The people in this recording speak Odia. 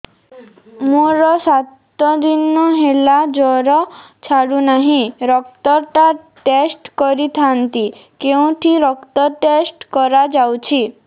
ମୋରୋ ସାତ ଦିନ ହେଲା ଜ୍ଵର ଛାଡୁନାହିଁ ରକ୍ତ ଟା ଟେଷ୍ଟ କରିଥାନ୍ତି କେଉଁଠି ରକ୍ତ ଟେଷ୍ଟ କରା ଯାଉଛି